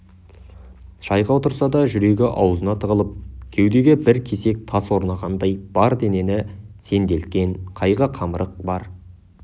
шайға отырса да жүрегі аузына тығылып кеудеге бір кесек тас орнағандай бар денені сенделткен қайғы-қамырық бар